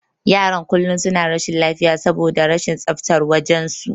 Yaran kullum suna rashin lafiya saboda rashin tsaftar wajen su.